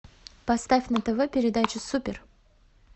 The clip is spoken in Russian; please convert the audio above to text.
поставь на тв передачу супер